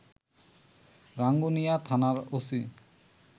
রাঙ্গুনিয়া থানার ওসি